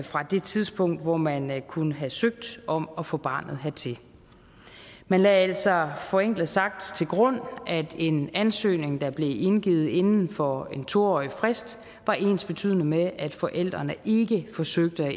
fra det tidspunkt hvor man man kunne have søgt om at få barnet hertil man lagde altså forenklet sagt til grund at en ansøgning der blev indgivet inden for en to årig frist var ensbetydende med at forældrene ikke forsøgte at